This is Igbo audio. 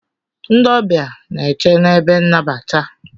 Ndị ọbịa n'eche n'ebe nnabata.